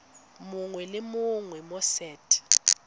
mongwe le mongwe mo set